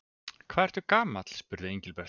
Hvað ertu gamall? spurði Engilbert.